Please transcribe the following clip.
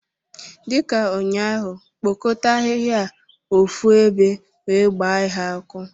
Dị ka ụnyaahụ, kpokọta ahịhịa a ofu ebe wee gbaa ha ọkụ!